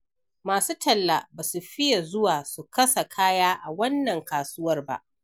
Masu talla ba su fiya zuwa su kasa kaya a wannan kasuwar ba.